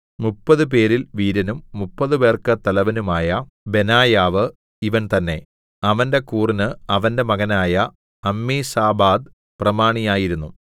മുപ്പതുപേരിൽ വീരനും മുപ്പതുപേർക്കു തലവനുമായ ബെനായാവ് ഇവൻ തന്നേ അവന്റെ കൂറിന് അവന്റെ മകനായ അമ്മീസാബാദ് പ്രമാണിയായിരുന്നു